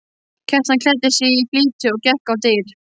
Kjartan klæddi sig í flýti og gekk á dyr.